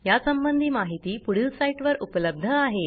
यासंबंधी माहिती पुढील साईटवर उपलब्ध आहे